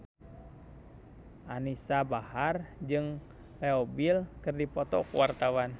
Anisa Bahar jeung Leo Bill keur dipoto ku wartawan